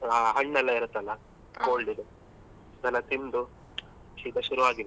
ಆ ಹಣ್ಣೆಲ್ಲಾ ಇರುತ್ತಲ್ಲ cold ಇದ್ದು ಅದೆಲ್ಲ ತಿಂದು ಶೀತ ಶುರು ಆಗಿದೆ.